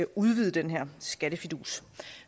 udvide den her skattefidus